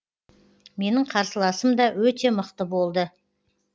менің қарсыласым да өте мықты болды